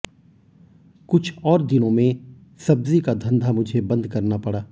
कुछ और दिनों में सब्जी का धंधा मुझे बंद करना पड़ा